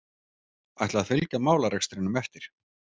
Ætla að fylgja málarekstrinum eftir